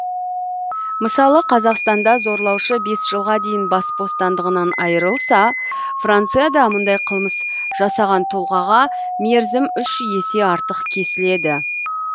мысалы қазақстанда зорлаушы бес жылға дейін бас бостандығынан айырылса францияда мұндай қылмыс жасаған тұлғаға мерзім үш есе артық кесіледі